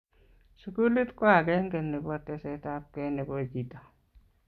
sukulit ko akenge nebo tesetabkei nebo chito